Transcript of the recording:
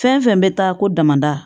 Fɛn fɛn bɛ taa ko damada